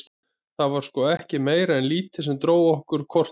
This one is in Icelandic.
Það var sko ekkert meira en lítið sem dró okkur hvort að öðru.